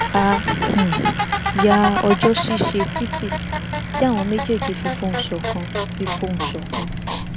a um yá ọjó ṣíṣe títí tí àwọn mejeeji fi fohùn ṣòkan fi fohùn ṣòkan